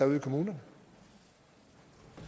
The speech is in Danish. ude i kommunerne